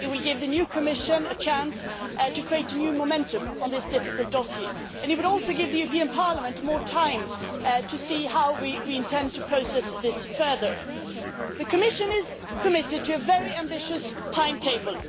It will give the new Commission a chance to create a new momentum on this difficult dossier and it would also give the European Parliament more time to see how we intend to process this further. The Commission is committed to a very ambitious timetable.